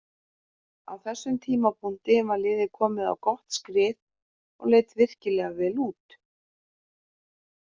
Á þessum tímapunkti var liðið komið á gott skrið og leit virkilega vel út.